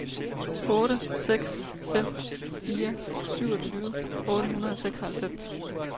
otte seks fem fire syvogtyve otte hundrede og seksoghalvfems